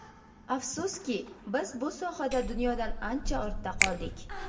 Afsuski, biz bu sohada dunyodan ancha ortda qoldik.